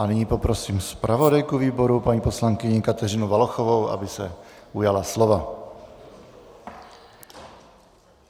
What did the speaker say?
A nyní poprosím zpravodajku výboru paní poslankyni Kateřinu Valachovou, aby se ujala slova.